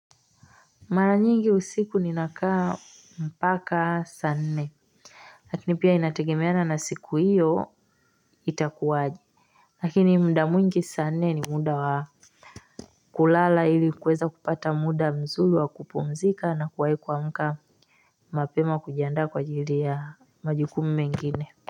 Mara nyingi usiku ninakaa mpaka saa nne. Lakini pia inategemeana na siku hiyo itakuwaje. Lakini mda mwingi sa nne ni muda wa kulala ili kweza kupata muda mzuri wa kupumzika na kuwahi kuamka, mapema kujandaa kwa jili ya majukumu mengine.